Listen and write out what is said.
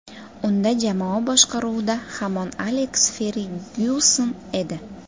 Unda jamoa boshqaruvida hamon Aleks Fergyuson edi.